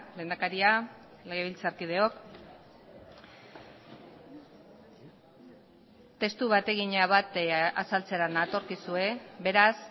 lehendakaria legebiltzarkideok testu bategina bat azaltzera natorkizue beraz